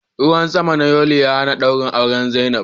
Ruwan sama na yuli ya hana dawrin auren zainab.